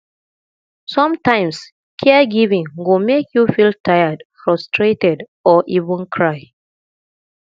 sometimes caregiving go make you feel tired frustrated or even cry